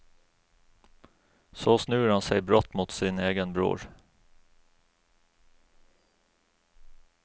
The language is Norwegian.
Så snur han seg brått mot sin egen bror.